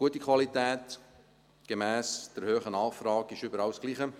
Gute Qualität gemäss der hohen Nachfrage ist überall das Gleiche.